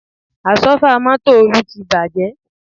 Àsọ́fà mọ́tò Olú ti bàjẹ́